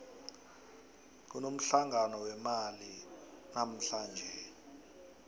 kunomhlangano wemali namuhlanje